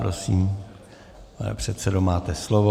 Prosím, pane předsedo, máte slovo.